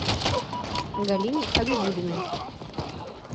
галине хабибуллиной